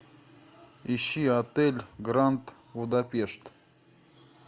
ищи отель гранд будапешт